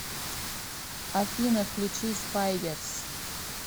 афина включи спайдерс